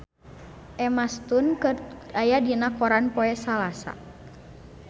Emma Stone aya dina koran poe Salasa